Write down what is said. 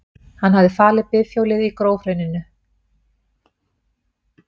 Hann hafði falið bifhjólið í grófhrauninu.